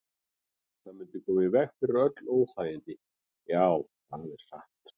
Það mundi koma í veg fyrir öll óþægindi, já, það er satt.